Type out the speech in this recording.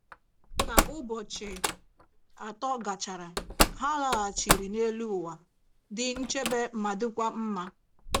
Ka ụbọchị atọ gachara, ha laghachiri n’elu ụwa, dị nchebe ma dịkwa mma.